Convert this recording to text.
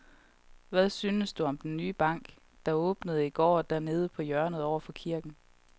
Hvad synes du om den nye bank, der åbnede i går dernede på hjørnet over for kirken?